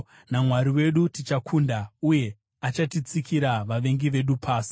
NaMwari wedu, tichakunda, uye achatsikira vavengi vedu pasi.